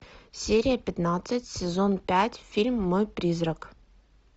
серия пятнадцать сезон пять фильм мой призрак